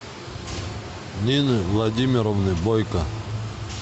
нины владимировны бойко